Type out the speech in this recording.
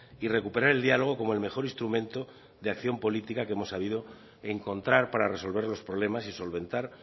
y recuperar el diálogo como el mejor instrumento de acción política que hemos sabido encontrar para resolver los problemas y solventar